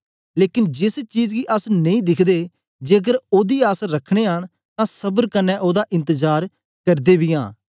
लेकन जेस चीज गी अस नेई दिखदे जेकर ओदी आस रखने आं तां सबर कन्ने ओदा इंतजार करदे बी आं